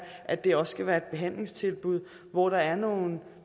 at det også skal være et behandlingstilbud hvor der er nogle